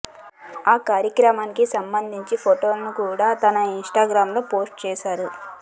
ఆ కార్యక్రమానికి సంబంధించిన ఫోటోలను కూడా తన ఇన్స్టాగ్రాంలో పోస్టు చేశారు